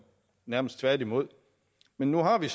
nærmest tværtimod men nu har vi